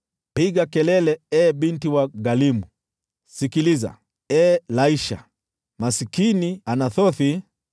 Piga kelele, ee Binti Galimu! Sikiliza, ee Laisha! Maskini Anathothi!